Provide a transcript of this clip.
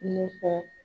Ne ka